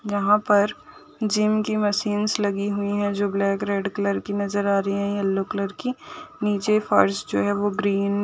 यहाँ पर जिम की मशीन्स लगी हुईं हैं। जो ब्लैक रेड कलर की नजर आ रहीं हैं। येलो कलर की | नीचे फर्श जो है वो ग्रीन --